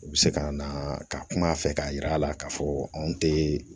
U bɛ se ka na ka kuma a fɛ k'a yira a la k'a fɔ anw tɛ